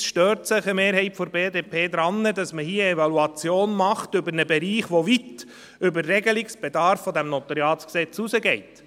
Einerseits stört sich eine Mehrheit der BDP daran, dass man hier eine Evaluation über einen Bereich macht, der weit über den Regelungsbedarf dieses NG hinausgeht.